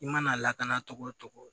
I mana lakana togo o togo